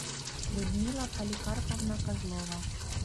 людмила поликарповна козлова